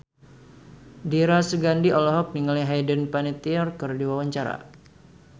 Dira Sugandi olohok ningali Hayden Panettiere keur diwawancara